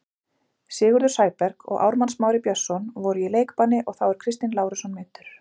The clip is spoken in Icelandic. Sigurður Sæberg og Ármann Smári Björnsson voru í leikbanni og þá er Kristinn Lárusson meiddur.